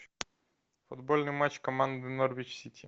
футбольный матч команды норвич сити